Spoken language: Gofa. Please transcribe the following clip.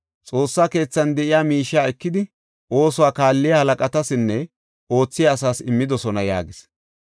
Xoossa keethan de7iya miishiya ekidi, oosuwa kaalliya halaqatasinne oothiya asaas immidosona” yaagis.